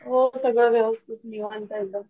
हो सगळं व्यवस्थित निवांत एकदम